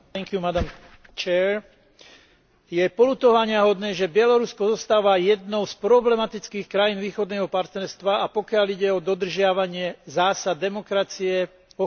Je poľutovaniahodné, že Bielorusko zostáva jednou z problematických krajín Východného partnerstva, pokiaľ ide o dodržiavanie zásad demokracie, ochrany ľudských práv a občianskych slobôd.